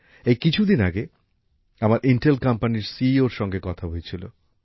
এই কিছুদিন আগে আমার ইন্টেল কোম্পানির সিইওর সঙ্গে দেখা হয়েছিল